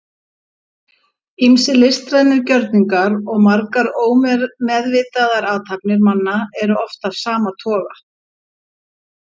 Ýmsir listrænir gjörningar og margar ómeðvitaðar athafnir manna eru af sama toga.